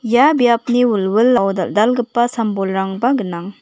ia biapni wilwilao dal·dalgipa sam-bolrangba gnang.